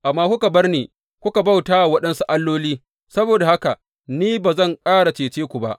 Amma kuka bar ni kuka bauta wa waɗansu alloli, saboda haka ni ma ba zan ƙara cece ku ba.